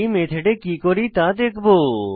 এই মেথডে কি করি তা দেখবো